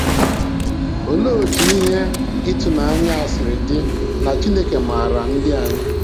Olee otú ihe ịtụnanya a siri dị na Chineke maara ndị anyị.